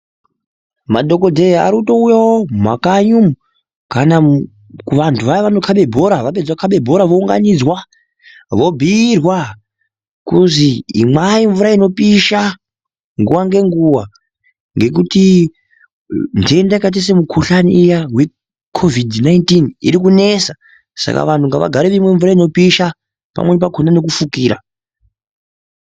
Madhogodheya arikutowuyawo mumakanyi umu ,kana kuvantu vaya vanokube bhora kana vapedze kukave bhora vounganidzwa vobhuyirwa kunzi inwai mvura inopisha nguva nenguva nekuti ntenda yakaita semukuhlane iya hweCovid 19 ikunesa saka vanhu ngavagare vachinwa mvura inopisa pamwi pakona nekufukira .